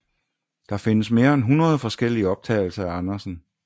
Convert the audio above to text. Der findes mere end 100 forskellige optagelser af Andersen